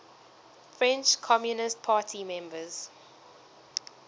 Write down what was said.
french communist party members